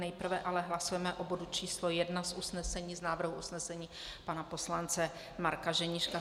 Nejprve ale hlasujeme o bodu číslo 1 z usnesení, z návrhu usnesení pana poslance Marka Ženíška.